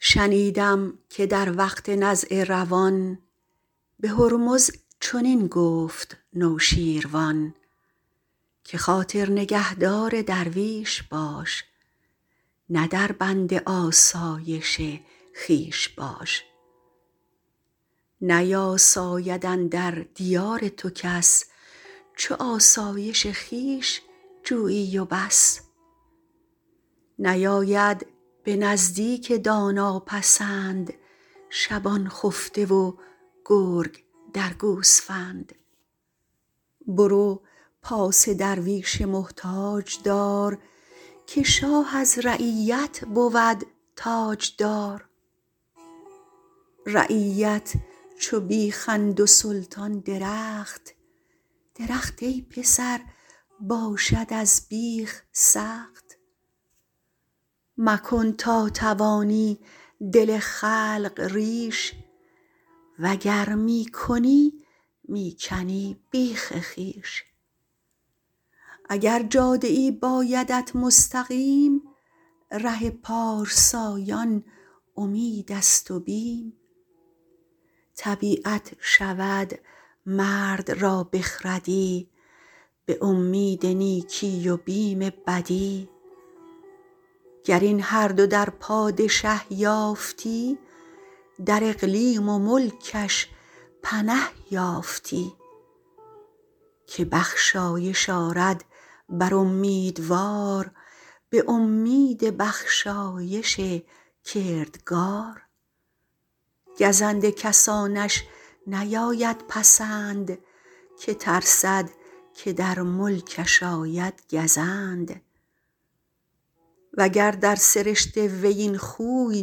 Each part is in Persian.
شنیدم که در وقت نزع روان به هرمز چنین گفت نوشیروان که خاطر نگهدار درویش باش نه در بند آسایش خویش باش نیاساید اندر دیار تو کس چو آسایش خویش جویی و بس نیاید به نزدیک دانا پسند شبان خفته و گرگ درد گوسفند برو پاس درویش محتاج دار که شاه از رعیت بود تاجدار رعیت چو بیخند و سلطان درخت درخت ای پسر باشد از بیخ سخت مکن تا توانی دل خلق ریش وگر می کنی می کنی بیخ خویش اگر جاده ای بایدت مستقیم ره پارسایان امید است و بیم طبیعت شود مرد را بخردی به امید نیکی و بیم بدی گر این هر دو در پادشه یافتی در اقلیم و ملکش بنه یافتی که بخشایش آرد بر امیدوار به امید بخشایش کردگار گزند کسانش نیاید پسند که ترسد که در ملکش آید گزند وگر در سرشت وی این خوی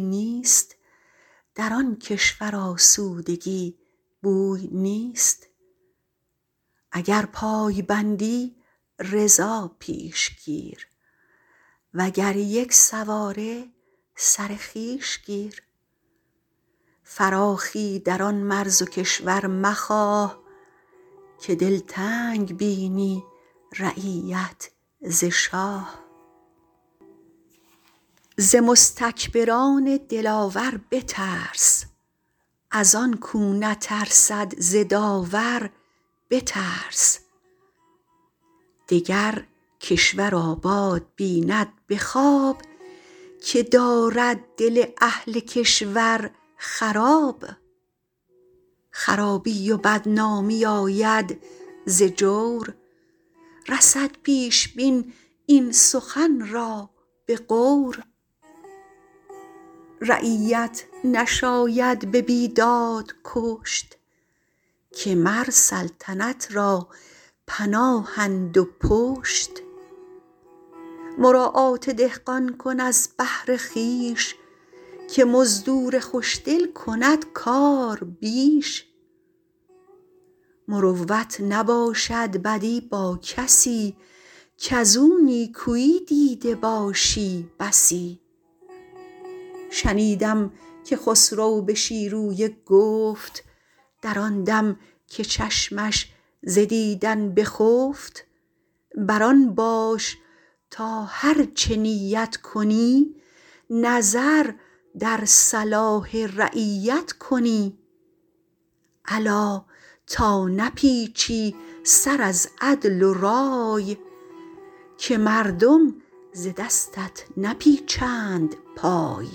نیست در آن کشور آسودگی بوی نیست اگر پای بندی رضا پیش گیر وگر یک سواری سر خویش گیر فراخی در آن مرز و کشور مخواه که دلتنگ بینی رعیت ز شاه ز مستکبران دلاور بترس از آن کاو نترسد ز داور بترس دگر کشور آباد بیند به خواب که دارد دل اهل کشور خراب خرابی و بدنامی آید ز جور رسد پیش بین این سخن را به غور رعیت نشاید به بیداد کشت که مر سلطنت را پناهند و پشت مراعات دهقان کن از بهر خویش که مزدور خوش دل کند کار بیش مروت نباشد بدی با کسی کز او نیکویی دیده باشی بسی شنیدم که خسرو به شیرویه گفت در آن دم که چشمش ز دیدن بخفت بر آن باش تا هرچه نیت کنی نظر در صلاح رعیت کنی الا تا نپیچی سر از عدل و رای که مردم ز دستت نپیچند پای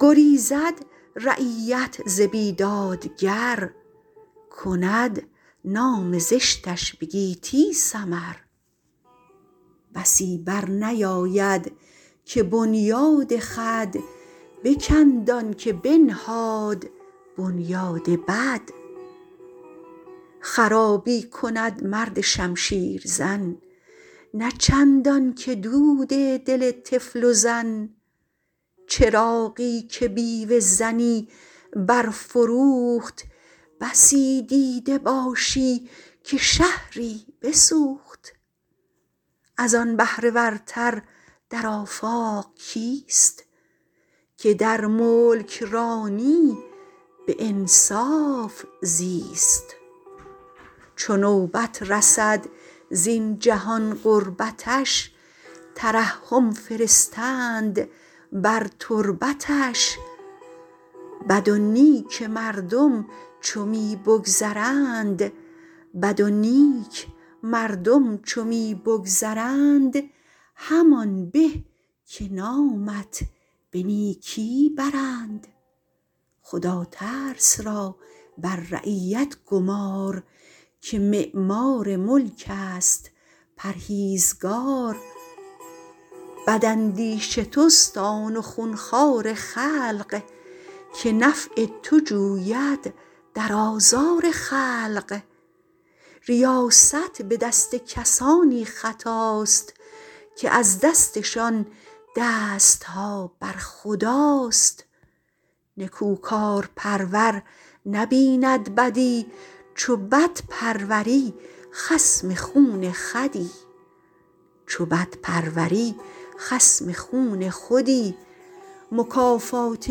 گریزد رعیت ز بیدادگر کند نام زشتش به گیتی سمر بسی بر نیاید که بنیاد خود بکند آن که بنهاد بنیاد بد خرابی کند مرد شمشیر زن نه چندان که دود دل طفل و زن چراغی که بیوه زنی برفروخت بسی دیده باشی که شهری بسوخت از آن بهره ورتر در آفاق کیست که در ملکرانی به انصاف زیست چو نوبت رسد زین جهان غربتش ترحم فرستند بر تربتش بد و نیک مردم چو می بگذرند همان به که نامت به نیکی برند خداترس را بر رعیت گمار که معمار ملک است پرهیزگار بد اندیش توست آن و خون خوار خلق که نفع تو جوید در آزار خلق ریاست به دست کسانی خطاست که از دستشان دست ها بر خداست نکوکارپرور نبیند بدی چو بد پروری خصم خون خودی مکافات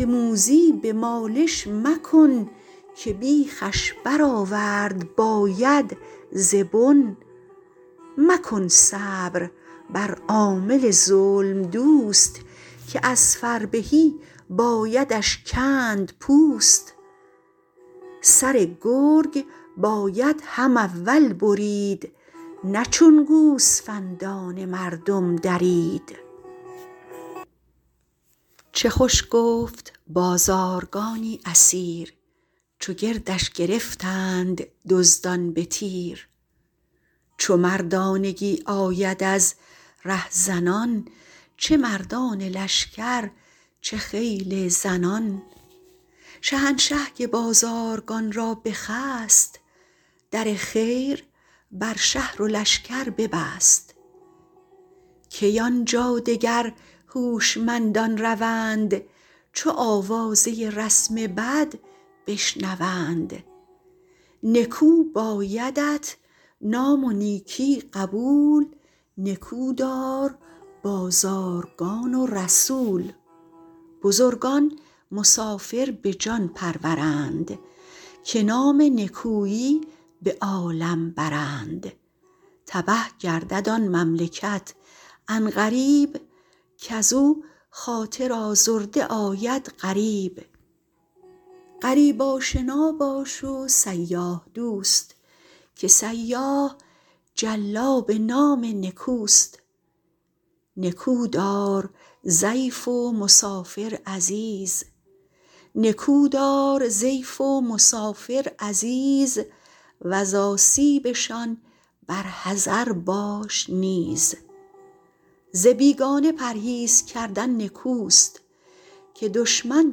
موذی به مالش مکن که بیخش برآورد باید ز بن مکن صبر بر عامل ظلم دوست که از فربهی بایدش کند پوست سر گرگ باید هم اول برید نه چون گوسفندان مردم درید چه خوش گفت بازارگانی اسیر چو گردش گرفتند دزدان به تیر چو مردانگی آید از رهزنان چه مردان لشکر چه خیل زنان شهنشه که بازارگان را بخست در خیر بر شهر و لشکر ببست کی آن جا دگر هوشمندان روند چو آوازه رسم بد بشنوند نکو بایدت نام و نیکی قبول نکو دار بازارگان و رسول بزرگان مسافر به جان پرورند که نام نکویی به عالم برند تبه گردد آن مملکت عن قریب کز او خاطر آزرده آید غریب غریب آشنا باش و سیاح دوست که سیاح جلاب نام نکوست نکو دار ضیف و مسافر عزیز وز آسیبشان بر حذر باش نیز ز بیگانه پرهیز کردن نکوست که دشمن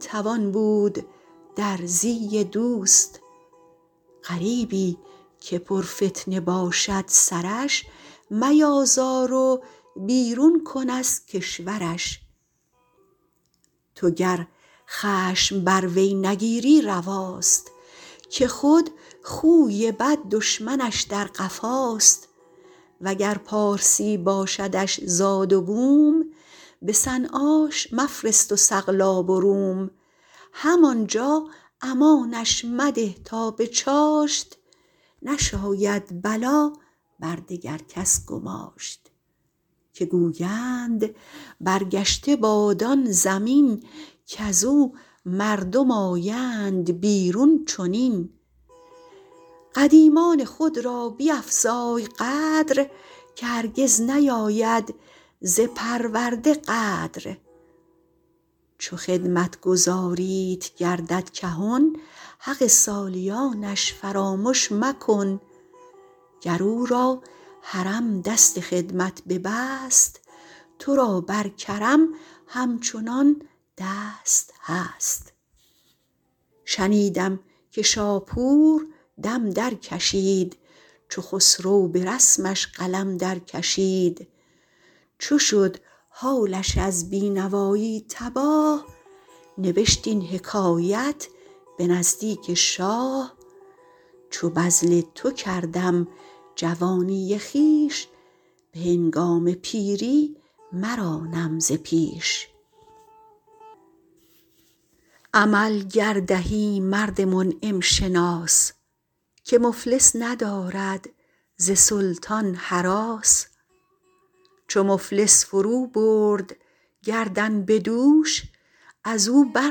توان بود در زی دوست غریبی که پر فتنه باشد سرش میازار و بیرون کن از کشورش تو گر خشم بر وی نگیری رواست که خود خوی بد دشمنش در قفاست وگر پارسی باشدش زاد و بوم به صنعاش مفرست و سقلاب و روم هم آن جا امانش مده تا به چاشت نشاید بلا بر دگر کس گماشت که گویند برگشته باد آن زمین کز او مردم آیند بیرون چنین قدیمان خود را بیفزای قدر که هرگز نیاید ز پرورده غدر چو خدمتگزاریت گردد کهن حق سالیانش فرامش مکن گر او را هرم دست خدمت ببست تو را بر کرم همچنان دست هست شنیدم که شاپور دم در کشید چو خسرو به رسمش قلم در کشید چو شد حالش از بی نوایی تباه نبشت این حکایت به نزدیک شاه چو بذل تو کردم جوانی خویش به هنگام پیری مرانم ز پیش عمل گر دهی مرد منعم شناس که مفلس ندارد ز سلطان هراس چو مفلس فرو برد گردن به دوش از او بر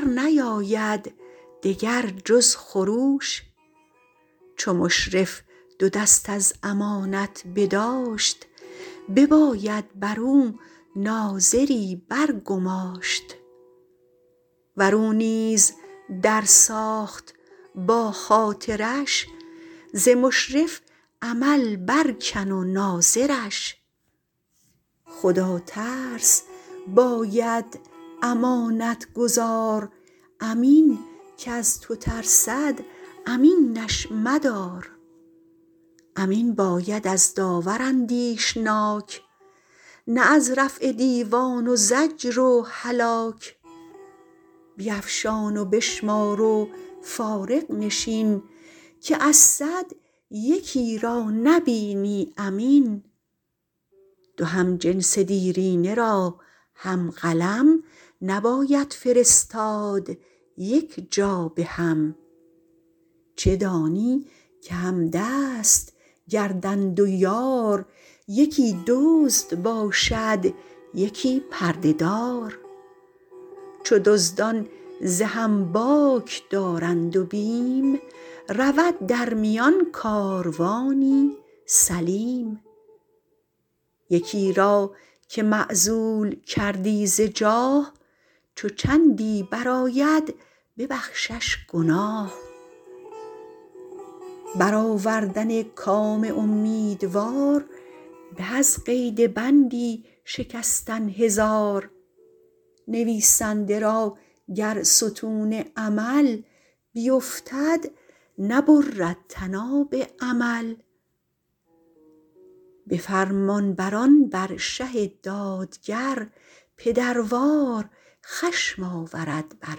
نیاید دگر جز خروش چو مشرف دو دست از امانت بداشت بباید بر او ناظری بر گماشت ور او نیز در ساخت با خاطرش ز مشرف عمل بر کن و ناظرش خدا ترس باید امانت گزار امین کز تو ترسد امینش مدار امین باید از داور اندیشناک نه از رفع دیوان و زجر و هلاک بیفشان و بشمار و فارغ نشین که از صد یکی را نبینی امین دو همجنس دیرینه را هم قلم نباید فرستاد یک جا به هم چه دانی که همدست گردند و یار یکی دزد باشد یکی پرده دار چو دزدان ز هم باک دارند و بیم رود در میان کاروانی سلیم یکی را که معزول کردی ز جاه چو چندی برآید ببخشش گناه بر آوردن کام امیدوار به از قید بندی شکستن هزار نویسنده را گر ستون عمل بیفتد نبرد طناب امل به فرمانبران بر شه دادگر پدروار خشم آورد بر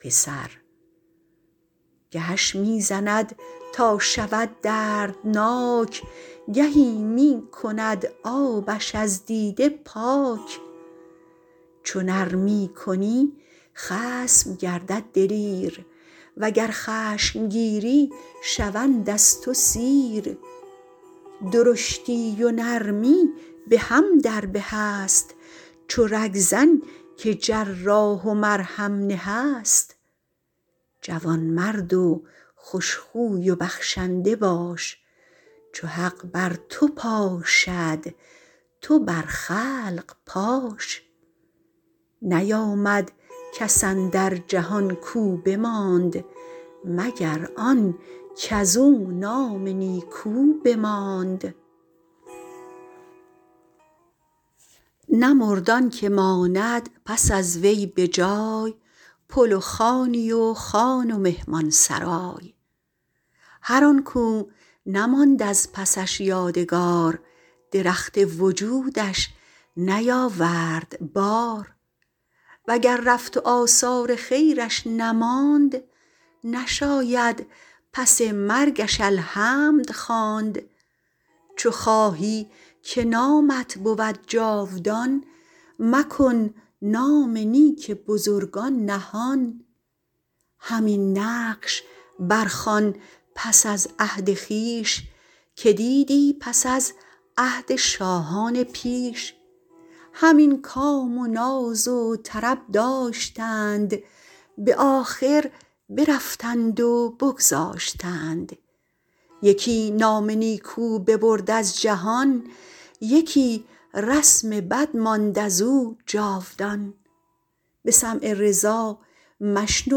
پسر گهش می زند تا شود دردناک گهی می کند آبش از دیده پاک چو نرمی کنی خصم گردد دلیر وگر خشم گیری شوند از تو سیر درشتی و نرمی به هم در به است چو رگ زن که جراح و مرهم نه است جوان مرد و خوش خوی و بخشنده باش چو حق بر تو پاشد تو بر خلق پاش نیامد کس اندر جهان کاو بماند مگر آن کز او نام نیکو بماند نمرد آن که ماند پس از وی به جای پل و خانی و خان و مهمان سرای هر آن کاو نماند از پسش یادگار درخت وجودش نیاورد بار وگر رفت و آثار خیرش نماند نشاید پس مرگش الحمد خواند چو خواهی که نامت بود جاودان مکن نام نیک بزرگان نهان همین نقش بر خوان پس از عهد خویش که دیدی پس از عهد شاهان پیش همین کام و ناز و طرب داشتند به آخر برفتند و بگذاشتند یکی نام نیکو ببرد از جهان یکی رسم بد ماند از او جاودان به سمع رضا مشنو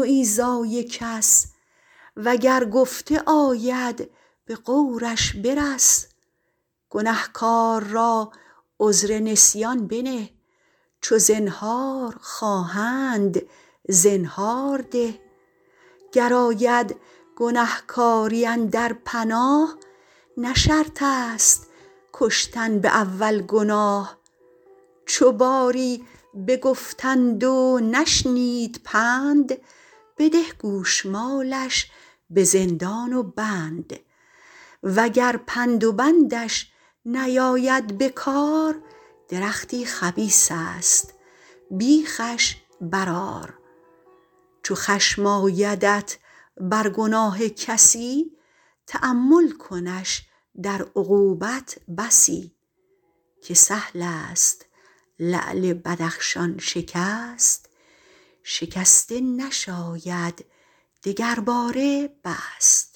ایذای کس وگر گفته آید به غورش برس گنهکار را عذر نسیان بنه چو زنهار خواهند زنهار ده گر آید گنهکاری اندر پناه نه شرط است کشتن به اول گناه چو باری بگفتند و نشنید پند بده گوشمالش به زندان و بند وگر پند و بندش نیاید بکار درختی خبیث است بیخش برآر چو خشم آیدت بر گناه کسی تأمل کنش در عقوبت بسی که سهل است لعل بدخشان شکست شکسته نشاید دگرباره بست